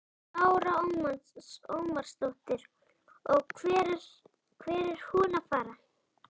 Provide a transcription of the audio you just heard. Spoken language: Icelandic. Lára Ómarsdóttir: Og hvert er hún að fara?